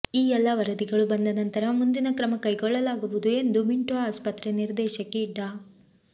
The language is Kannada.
ಈ ಎಲ್ಲ ವರದಿಗಳು ಬಂದ ನಂತರ ಮುಂದಿನ ಕ್ರಮ ಕೈಗೊಳ್ಳಲಾಗುವುದು ಎಂದು ಮಿಂಟೊ ಆಸ್ಪತ್ರೆ ನಿರ್ದೇಶಕಿ ಡಾ